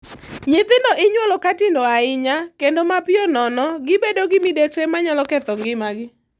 Nyithindo inyuolo ka tindo ahinya, kendo mapiyo nono, gibedo gi midekre manyalo ketho ngimagi.